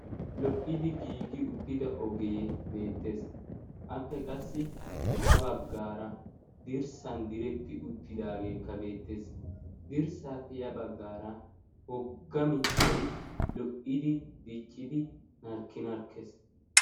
Lo"idi giigi uttida ogee beettees appe qassi ha baggaara dirssan diretti uttidaageekka beettees dirssaa peya baggaara hogga mittai lo"idi diccidi narkkinarkkees.